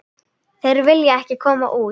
Þeir vilja ekki koma út.